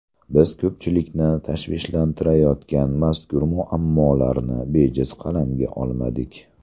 Biz ko‘pchilikni tashvishlantirayotgan mazkur muammolarni bejiz qalamga olmadik.